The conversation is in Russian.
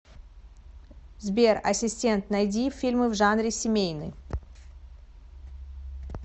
сбер ассистент найди фильмы в жанре семейный